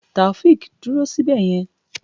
Taofiq dúró síbẹ̀ yẹn!